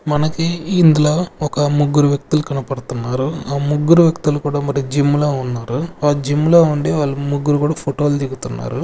మనకి ఇందులో ఒక ముగ్గురు వ్యక్తులు కనపడుతున్నారు ఆ ముగ్గురు వ్యక్తులు కూడా మరి జిమ్ లో ఉన్నారు ఆ జిమ్ లో ఉండి వాళ్ళు ముగ్గురు కూడా ఫోటో లు దిగుతున్నారు.